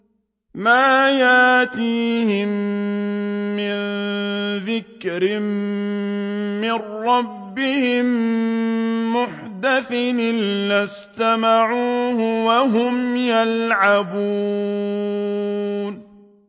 مَا يَأْتِيهِم مِّن ذِكْرٍ مِّن رَّبِّهِم مُّحْدَثٍ إِلَّا اسْتَمَعُوهُ وَهُمْ يَلْعَبُونَ